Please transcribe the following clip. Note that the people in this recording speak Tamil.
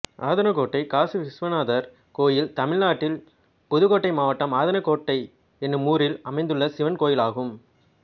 ஆதனக்கோட்டை காசிவிஸ்வநாதர் கோயில் தமிழ்நாட்டில் புதுக்கோட்டை மாவட்டம் ஆதனக்கோட்டை என்னும் ஊரில் அமைந்துள்ள சிவன் கோயிலாகும்